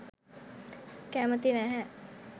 කැමැති නැහැ.